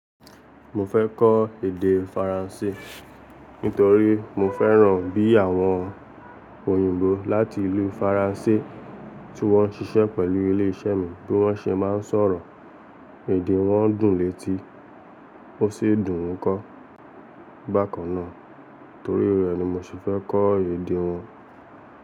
Mo fẹ́ kọ́ èdè Faransé nítorí mo fẹ́ràn bí àwọn òyìnbó láti ìlú Faransé tí wọ́n ń ṣiṣẹ́ pẹ̀lú ilé iṣẹ́ mi bí wọ́n ṣe máa ń sọ̀rọ̀, èdè wọn dùn létí ó sì dùn ún kọ. Bákan náà torí rẹ̀ ni mo ṣe fẹ́ kọ́ èdè wọn.